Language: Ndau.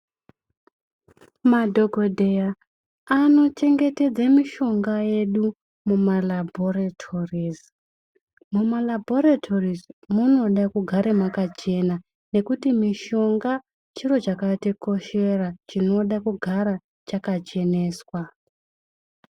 Madhokodheya anochengetedza mitombo yedu mumphatso inochengetwa mitombo uye mugare makachena ngekuti mitombo chiro chakakosha ,inoda kugara yakacheneswa.